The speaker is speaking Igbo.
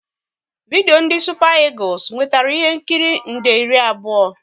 Vidio ndị Supa Egules nwetara ihe nkiri nde iri abụọ